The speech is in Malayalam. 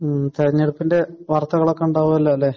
മ്മ്. തിരഞ്ഞെടുപ്പിന്റെ വാർത്തകളൊക്കെ ഉണ്ടാകുമല്ലോ അല്ലെ?